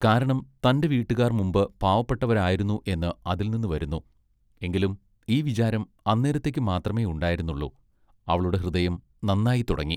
കാരണം തന്റെ വീട്ടുകാർ മുമ്പ് പാപപ്പെട്ടവരായിരുന്നു എന്ന് അതിൽനിന്നു വരുന്നു, എങ്കിലും ഈ വിചാരം അന്നേരത്തെക്ക് മാത്രമെ ഉണ്ടായിരുന്നുള്ളു, അവളുടെ ഹൃദയം നന്നായിത്തുടങ്ങി.